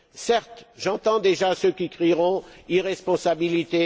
Certes, j'entends déjà ceux qui crieront à l'irresponsabilité.